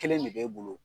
Kelen de b'e bolo